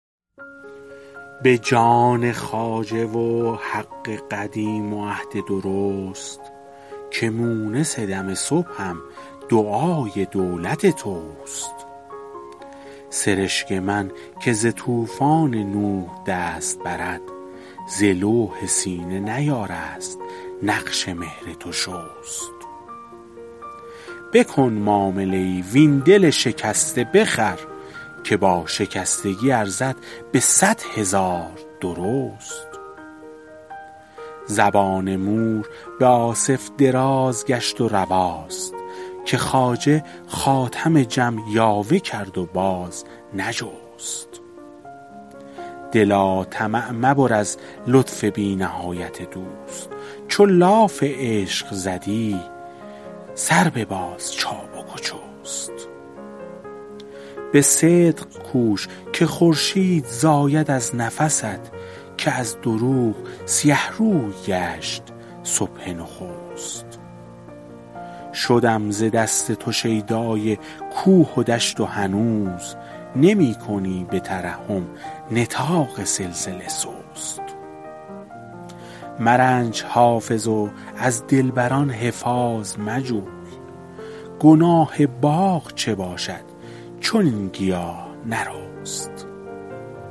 به جان خواجه و حق قدیم و عهد درست که مونس دم صبحم دعای دولت توست سرشک من که ز طوفان نوح دست برد ز لوح سینه نیارست نقش مهر تو شست بکن معامله ای وین دل شکسته بخر که با شکستگی ارزد به صد هزار درست زبان مور به آصف دراز گشت و رواست که خواجه خاتم جم یاوه کرد و باز نجست دلا طمع مبر از لطف بی نهایت دوست چو لاف عشق زدی سر بباز چابک و چست به صدق کوش که خورشید زاید از نفست که از دروغ سیه روی گشت صبح نخست شدم ز دست تو شیدای کوه و دشت و هنوز نمی کنی به ترحم نطاق سلسله سست مرنج حافظ و از دلبر ان حفاظ مجوی گناه باغ چه باشد چو این گیاه نرست